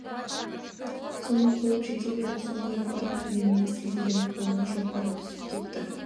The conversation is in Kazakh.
соны қуып жете беріп соңғы рет бар пәрменімен сілтегенде қолынан шоқпары түсіп кетті